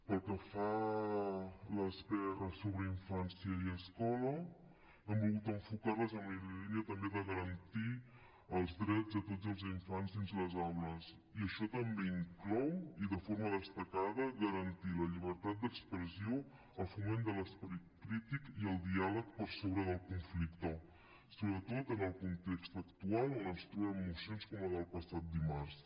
pel que fa a les prs sobre infància i escola hem volgut enfocar les en la línia també de garantir els drets de tots els infants dins les aules i això també inclou i de forma destacada garantir la llibertat d’expressió el foment de l’esperit crític i el diàleg per sobre del conflicte sobretot en el context actual on ens trobem mocions com la del passat dimarts